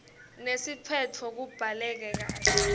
nesiphetfo kubhaleke kahle